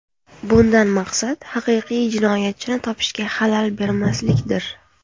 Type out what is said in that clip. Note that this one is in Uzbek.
Bundan maqsad haqiqiy jinoyatchini topishga xalal bermaslikdir.